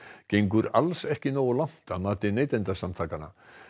gengur alls ekki nógu langt að mati Neytendasamtakanna